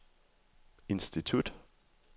institut